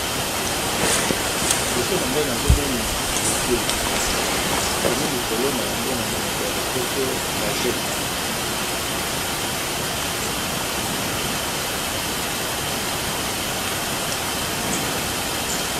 Liboso na ngai nazomona logo bakomi likolo na yango na monoko ya lopoto rajek.